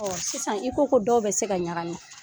Sisan i ko ko dɔw bɛ se ka ɲagami